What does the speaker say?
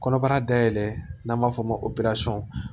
Kɔnɔbara dayɛlɛn n'an b'a fɔ o ma ko